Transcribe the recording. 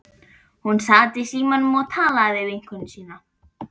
Hún sat í símanum og talaði við vinkonu sína.